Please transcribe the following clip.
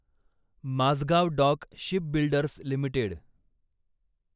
Mazgaon dock shipbuilders limited